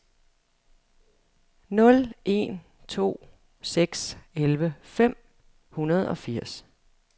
nul en to seks elleve fem hundrede og firs